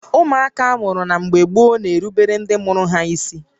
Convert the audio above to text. Ụmụaka amụrụ na mgbé gboo na-erubere ndị mụrụ ha ísí